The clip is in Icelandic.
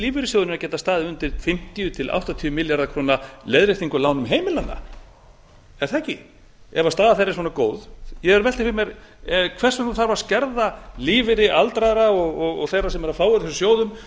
að geta staðið undir fimmtíu til áttatíu milljarða króna leiðréttingu á lánum heimilanna er það ekki ef staða þeirra er svona góð ég er að velta fyrir mér hvers vegna þarf að skerða lífeyri aldraðra og þeirra sem eru